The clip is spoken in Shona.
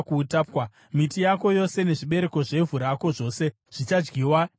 Miti yako yose nezvibereko zvevhu rako zvose zvichadyiwa nemhashu.